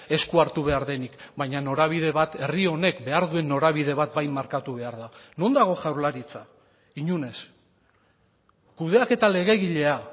esku hartu behar denik baina norabide bat herri honek behar duen norabide bat bai markatu behar da non dago jaurlaritza inon ez kudeaketa legegilea